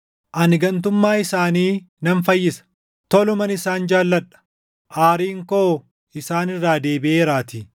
“Ani gantummaa isaanii nan fayyisa, toluman isaan jaalladha; aariin koo isaan irraa deebiʼeeraatii.